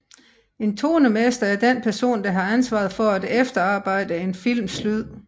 En tonemester er den person der har ansvaret for at efterarbejde en films lyd